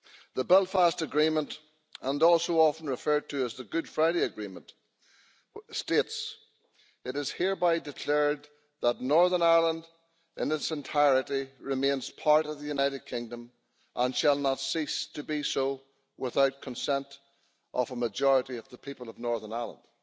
The Belfast Agreement, also often referred to as the Good Friday Agreement, states it is hereby declared that Northern Ireland, in its entirety, remains part of the United Kingdom and shall not cease to be so without consent of a majority of the people of Northern Ireland'.